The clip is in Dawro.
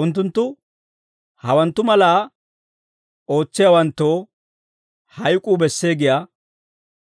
Unttunttu hawanttu malaa ootsiyaawanttoo hayk'uu bessee giyaa